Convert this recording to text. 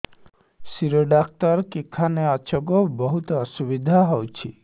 ଶିର doctor କେଖାନେ ଅଛେ ଗୋ ବହୁତ୍ ଅସୁବିଧା ହଉଚି